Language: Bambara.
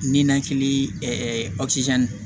Ninakili